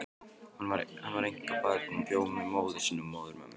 Hún var einkabarn og bjó með móður sinni og móðurömmu.